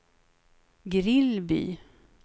Grillby